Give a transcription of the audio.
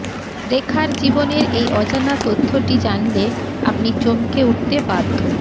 রেখার জীবনের এই অজানা তথ্যটি জানলে আপনি চমকে উঠতে বাধ্য